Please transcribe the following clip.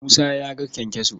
Musa ya ga kyankyaso.